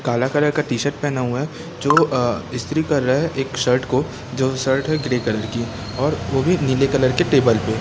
कला कला का टी शर्ट पहना हुआ है जो अ स्त्री कर रहा है एक शर्ट को जो शर्ट है ग्रीन कलर की और वो भी नीले कलर के टेबल पे।